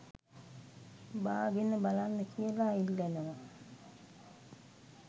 බාගෙන බලන්න කියලා ඉල්ලනවා